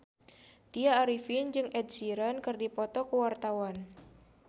Tya Arifin jeung Ed Sheeran keur dipoto ku wartawan